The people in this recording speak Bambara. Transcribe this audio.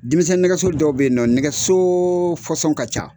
Denmisɛn nɛgɛso dɔw bɛ nɔ, nɛgɛso ka ca.